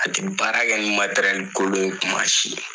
A tɛ baarakɛ ni kolon ye kuma si.